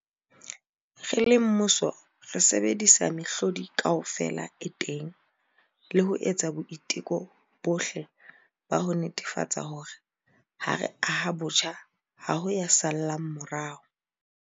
Re le mmuso, re sebedisa mehlodi kaofela e teng le ho etsa boiteko bohle ba ho netefatsa hore, ha re aha botjha, ha ho ya sa llang morao.